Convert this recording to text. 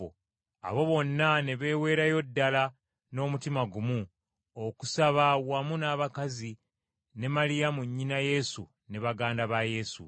Abo bonna ne beeweerayo ddala n’omutima gumu okusaba wamu n’abakazi ne Maliyamu nnyina Yesu ne baganda ba Yesu.